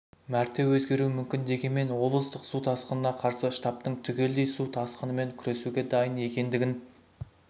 мәрте өзгеруі мүмкін дегенмен облыстық су тасқынына қарсы штабтың түгелдей су тасқынымен күресуге дайын екендігін